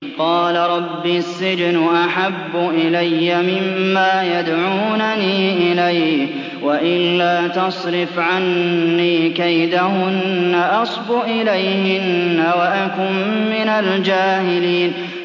قَالَ رَبِّ السِّجْنُ أَحَبُّ إِلَيَّ مِمَّا يَدْعُونَنِي إِلَيْهِ ۖ وَإِلَّا تَصْرِفْ عَنِّي كَيْدَهُنَّ أَصْبُ إِلَيْهِنَّ وَأَكُن مِّنَ الْجَاهِلِينَ